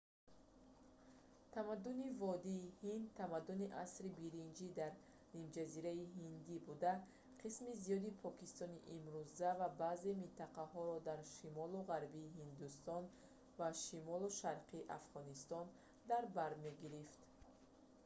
тамаддуни водии ҳинд тамаддуни асри биринҷии дар нимҷазираи ҳиндӣ буда қисми зиёди покистони имрӯза ва баъзе минтақаҳоро дар шимолу ғарбии ҳиндустон ва шимолу шарқи афғонистон дар бар мегирифт